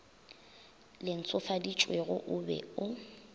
le ntshofaditšwego o be o